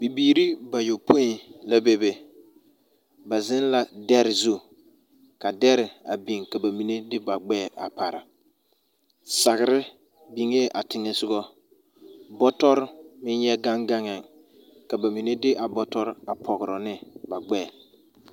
Bibiiri bayɔpoi la bebe. Ba zeŋ la dɛre zuŋ ka dɛre a biŋ ka ba mine de ba gbɛre a pare. Sagere biŋee a teŋɛ sogɔ. Bɔtɔr meŋ yɛ gaŋ gaŋɛɛ, ka ba mine de a bɔtɔr a pagra ne ba gbɛɛ.